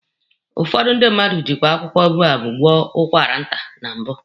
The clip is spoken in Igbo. Ụfọdụ ndị mmadụ jikwe akwụkwọ boababụ gwọ ụkwara nta na mbụ.